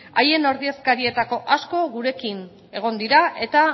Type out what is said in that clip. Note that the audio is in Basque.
haien ordezkarietako asko gurekin egon dira eta